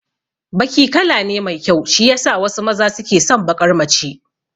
Baki kala ne mai kyau shiyasa wasu maza suke son baƙar mace